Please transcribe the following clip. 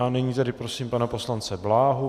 A nyní tedy prosím pana poslance Bláhu.